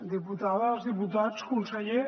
diputades diputats conseller